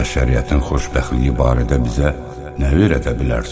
Bəşəriyyətin xoşbəxtliyi barədə bizə nə verədə bilərsən?